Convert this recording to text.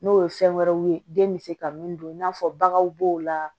N'o ye fɛn wɛrɛw ye den bɛ se ka min dun i n'a fɔ baganw b'o la